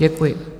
Děkuji.